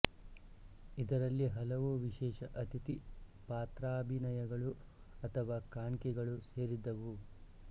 ಇದರಲ್ಲಿ ಹಲವು ವಿಶೇಷ ಅತಿಥಿ ಪಾತ್ರಾಭಿನಯಗಳು ಅಥವಾ ಕಾಣ್ಕೆಗಳು ಸೇರಿದ್ದವು